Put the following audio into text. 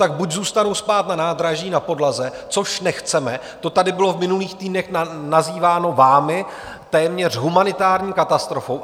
Tak buď zůstanou spát na nádraží na podlaze, což nechceme, to tady bylo v minulých týdnech nazýváno vámi téměř humanitární katastrofou.